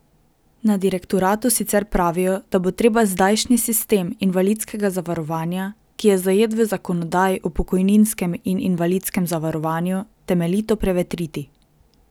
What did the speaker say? Na direktoratu sicer pravijo, da bo treba zdajšnji sistem invalidskega zavarovanja, ki je zajet v zakonodaji o pokojninskem in invalidskem zavarovanju, temeljito prevetriti.